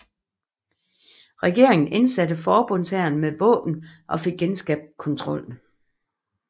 Regeringen indsatte forbundshæren med våben og fik genskabt kontrollen